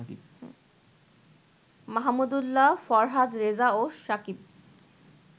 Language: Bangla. মাহমুদুল্লাহ, ফরহাদ রেজা ও সাকিব